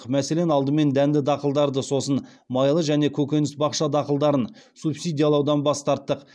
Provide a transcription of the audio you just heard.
мәселен алдымен дәнді дақылдарды сосын майлы және көкөніс бақша дақылдарын субсидиялаудан бас тарттық